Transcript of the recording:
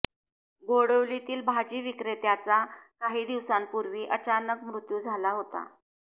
गोडवलीतील भाजी विक्रेत्याचा काही दिवसांपूर्वी अचानक मृत्यू झाला होता